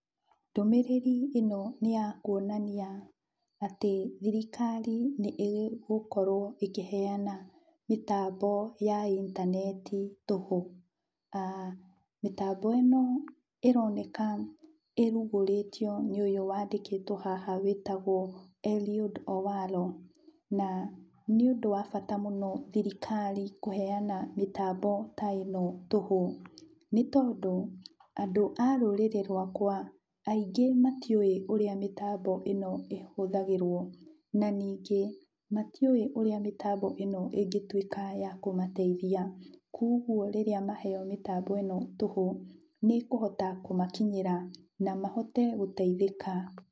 Ndũmĩrĩri ĩno nĩ ya kuonania atĩ thirikari nĩĩgũkorwo ĩkĩheana mĩtambo ya intaneti tũhũ. Mĩtambo ĩno ĩroneka ĩrugũrĩtio nĩ ũyũ wandĩkĩtwo haha wĩtagwo Eliud Owalo. Na nĩũndũ wa bata mũno thirikari kũheana mĩtambo ta ĩno tũhũ, nĩtondũ, andũ a rũrĩrĩ rwakwa aingĩ matiũĩ ũrĩa mĩtambo ĩno ĩhũthagĩrwo, na ningĩ, matiũĩ ũrĩa mĩtambo ĩno ĩngĩtuĩka ya kũmateithia, kuoguo rĩrĩa maheo mĩtambo ĩno tũhũ, nĩĩkũhota kũmakinyĩra na mahote gũteithĩka.